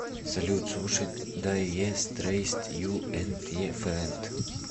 салют слушать дайэ стрэйст ю энд е френд